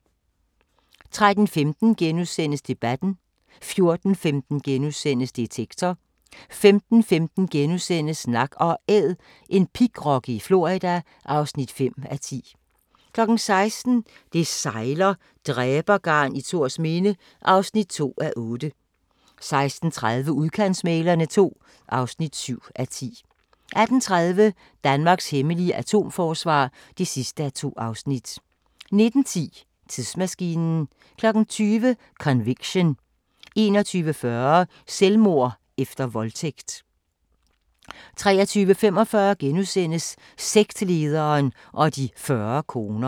13:15: Debatten * 14:15: Detektor * 15:15: Nak & Æd – en pigrokke i Florida (5:10)* 16:00: Det sejler - dræbergarn i Thorsminde (2:8) 16:30: Udkantsmæglerne II (7:10) 18:30: Danmarks hemmelige atomforsvar (2:2) 19:10: Tidsmaskinen 20:00: Conviction 21:40: Selvmord efter voldtægt 23:45: Sektlederen og de 90 koner *